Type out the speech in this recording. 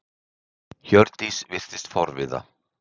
Hjördís virtist forviða.